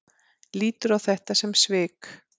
Lítur á þetta sem svik?